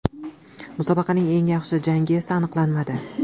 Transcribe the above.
Musobaqaning eng yaxshi jangi esa aniqlanmadi.